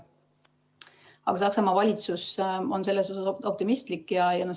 Aga Saksamaa valitsus on optimistlik.